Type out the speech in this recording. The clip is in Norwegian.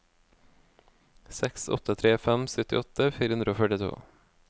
seks åtte tre fem syttiåtte fire hundre og førtito